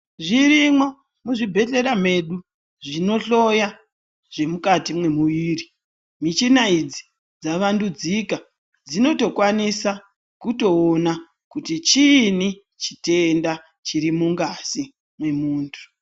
Zvirimo muzvibhedhlera mwedu zvinohloya zvirimukati memuviri, michinanidzi dzavandudzika dzinotokwanisa kutoona kuti chiini chitenda chirimungazi memuntu.